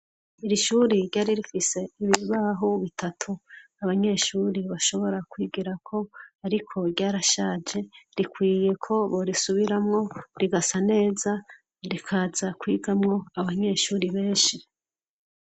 Irishuri ryari rifise ibiribahu bitatu abanyeshuri bashobora kwigera ko, ariko ryarashaje rikwiye ko borisubiramwo rigasa neza rikaza kwigamwo abanyeshuri beshe.